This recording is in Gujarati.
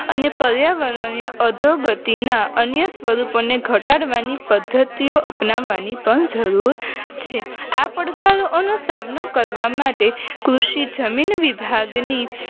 અને પર્યાવરણના અધોગતિના અન્ય સ્વરૂપોને ઘટાડવાની પદ્ધતિઓ અપનાવી પણ જરૂર છે આ પડકારોનો સામનો કરવા માટે કૃષિ જમીન વિભાગની